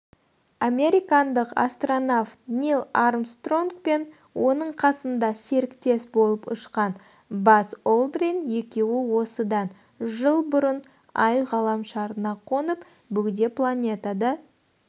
американдық астронавт нил армстронг пен оның қасында серіктес болып ұшқан базз олдрин екеуі осыдан жыл бұрын ай ғаламшарына қонып бөгде планетада